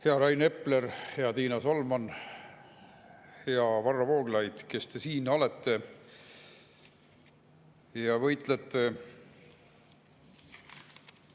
Hea Rain Epler, hea Riina Solman, hea Varro Vooglaid, kes te siin olete ja võitlete!